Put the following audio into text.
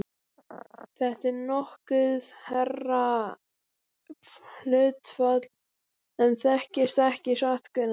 Þetta er nokkuð hærra hlutfall en þekkist ekki satt, Gunnar?